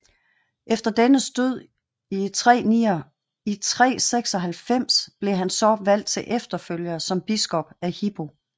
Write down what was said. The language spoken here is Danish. Efter dennes død i 396 blev han så valgt til efterfølger som biskop af Hippo